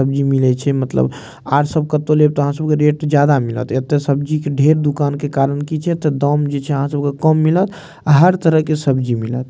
सब्जी मिले छै मतलब आर सब कतो लेब ते आहां सबके रेट ज्यादा मिलत एता सब्जी के ढेर दुकान के कारण की छै ते दाम जे छै आहां सब के कम मिलत हर तरह के सब्जी मिलत।